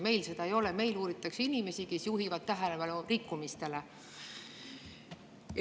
Meil seda ei ole, meil uuritakse inimesi, kes juhivad tähelepanu rikkumistele.